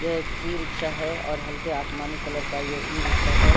यह एक e rickshaw है और हल्के आसमानी कलर का ये ई रिक्शा है।